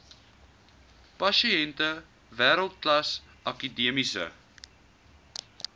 pasiënte wêreldklas akademiese